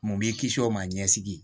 Mun b'i kisi o ma ɲɛsigi